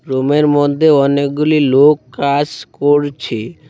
রুমের মধ্যে অনেকগুলি লোক কাস করছে।